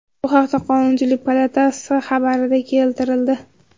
Bu haqda Qonunchilik palatasi xabarida keltirildi .